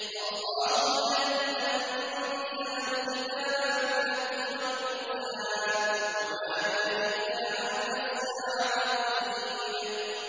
اللَّهُ الَّذِي أَنزَلَ الْكِتَابَ بِالْحَقِّ وَالْمِيزَانَ ۗ وَمَا يُدْرِيكَ لَعَلَّ السَّاعَةَ قَرِيبٌ